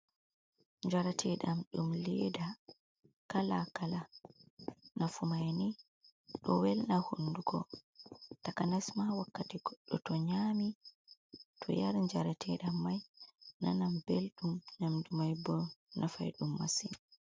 Njrateɗam ɗum leda kala kala, nafumai ni ɗo welna hunduko takanasma wakkati goɗɗo to nyami to yari jarateɗam mai nanan belɗum nyamdu mai bo nafai ɗum masin.